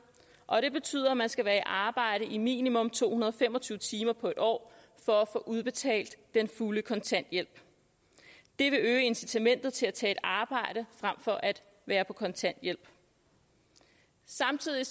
og det betyder at man skal være i arbejde i minimum to hundrede og fem og tyve timer på en år for at få udbetalt den fulde kontanthjælp det vil øge incitamentet til at tage et arbejde frem for at være på kontanthjælp samtidig